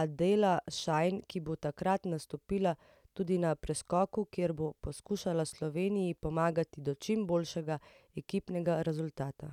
Adela Šajn, ki bo tokrat nastopila tudi na preskoku, kjer bo poskušala Sloveniji pomagati do čim boljšega ekipnega rezultata.